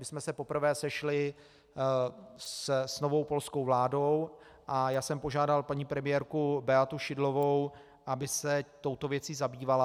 My jsme se poprvé sešli s novou polskou vládou a já jsem požádal paní premiérku Beatu Szydlovou, aby se touto věcí zabývala.